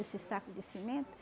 Esses saco de cimento?